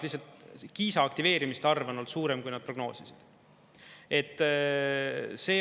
Lihtsalt Kiisa aktiveerimiste arv on olnud suurem, kui nad prognoosisid.